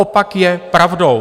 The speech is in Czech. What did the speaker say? Opak je pravdou.